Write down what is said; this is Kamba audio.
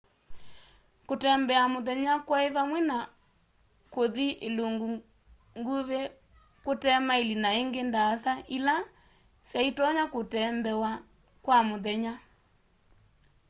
kũtembea mũthenya kwaĩ vamwe na kũthĩ ĩlũngũ ngũvĩ kũte maĩlĩ na ĩngĩ ndaasa ĩla sya ĩtonya kũtembewa kwa mũthenya